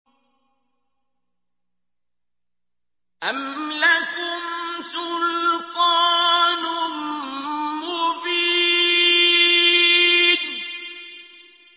أَمْ لَكُمْ سُلْطَانٌ مُّبِينٌ